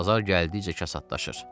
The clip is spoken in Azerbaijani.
Bazar gəldikcə kasadlaşır.